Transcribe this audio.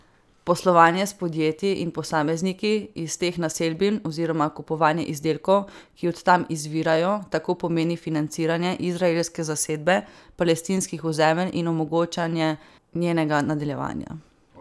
Poslovanje s podjetji in posamezniki iz teh naselbin oziroma kupovanje izdelkov, ki od tam izvirajo, tako pomeni financiranje izraelske zasedbe palestinskih ozemelj in omogočanje njenega nadaljevanja.